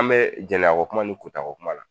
An bɛ jɛnaya ko kuma ni kɔta ko kuma la